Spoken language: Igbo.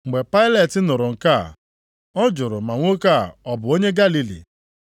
Mgbe Pailet nụrụ nke a, ọ jụrụ ma nwoke a ọ bụ onye Galili?